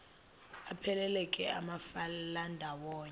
aphelela ke amafelandawonye